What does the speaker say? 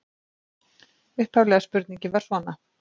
Upphafleg spurning var svona: